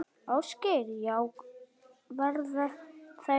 Ásgeir: Já, verða þær fleiri?